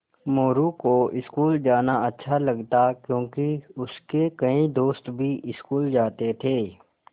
मोरू को स्कूल जाना अच्छा लगता क्योंकि उसके कई दोस्त भी स्कूल जाते थे